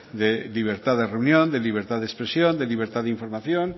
de libertad de reunión de libertad de expresión de libertad de información